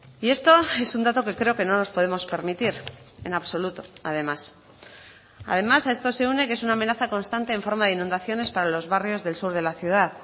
y esto es un dato que creo que no nos podemos permitir en absoluto además además a esto se une que es una amenaza constante en forma de inundaciones para los barrios del sur de la ciudad